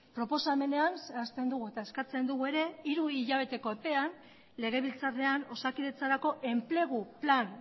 proposamenean zehazten dugu eta eskatzen dugu ere hiru hilabeteko epean legebiltzarrean osakidetzarako enplegu plan